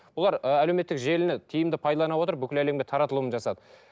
бұлар ы әлеуметтік желіні тиімді пайдалана отырып бүкіл әлемге таратылым жасады